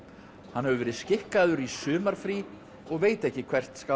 hann hefur verið skikkaður í sumarfrí og veit ekki hvert skal